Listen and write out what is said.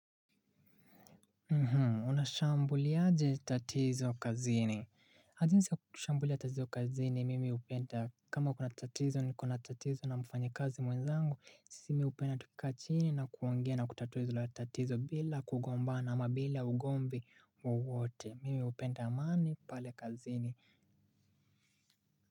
Unashambuliaje tatizo kazini jinsi ya kushambulia tatizo kazini mimi hupenda kama kuna tatizo niko na tatizo na mfanyakazi mwenzangu sisi mimi hupenda tukikaa chini na kuongea na kutatua ilo tatizo bila kugombana ama bila ugomvi wowote mimi hupenda amani pale kazini.